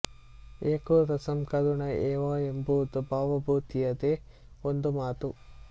ಏಕೋ ರಸಃ ಕರುಣ ಏವ ಎಂಬುದು ಭವಭೂತಿಯದೇ ಒಂದು ಮಾತು